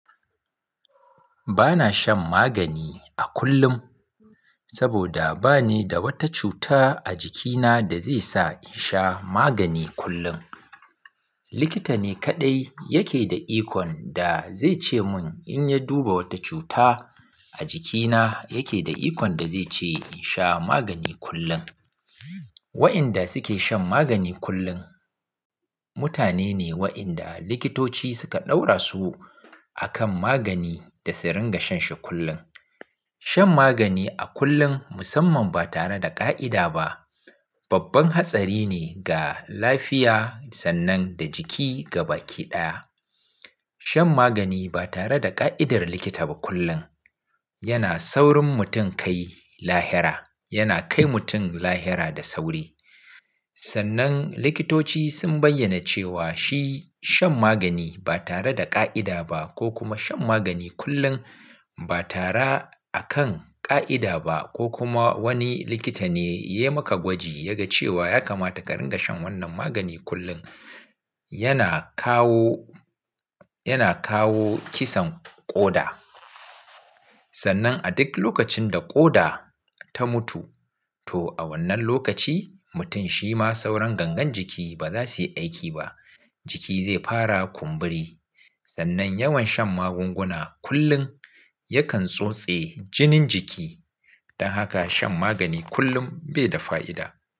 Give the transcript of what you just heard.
Bana shan magani a kullum saboda ba ni da wata cuta a jikina da zai sa in sha magani kullum. Likita ne kaɗai yake da ikon da zai ce mun in ya duba wata cuta a jikina yake da ikon da zai ce in sha magani kullum. Waɗanda suke shan magani kullum mutane ne waɗanda likitoci suka ɗaura su a kan magani da su ringa shan shi kullum. Shan magani a kullum musamman ba tare da ƙa'ida ba, babban hatsari ne ga lafiya sannan da jiki gaba ki ɗaya. Shan magani ba tare da ƙa'idar likita ba kullum yana saurin mutum kai lahira, yana kai mutum lahira da sauri. Sannan likitoci sun bayyana cewa shi shan magani ba tare da ƙa'ida ba ko kuma shan magani kullum ba tara a kan ƙa'ida ba ko kuma wani likita ne ya yi maka gwaji ya ga cewa ya kamata ka ringa shan wannan magani kullum, yana kawo, yana kawo kisan ƙoda. Sannan a duk lokacin da ƙoda ta mutu, to a wannan lokaci mutum shi ma sauran gangan jiki ba za su yi aiki ba, jiki zai fara kumburi. Sannan yawan shan magunguna kullum yakan tsotse jinin jiki. Don haka shan magani kullum bai da fa'ida.